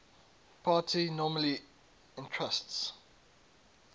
party normally entrusts